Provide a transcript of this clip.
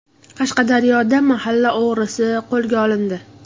Qashqadaryoda mahalla o‘g‘risi qo‘lga olindi.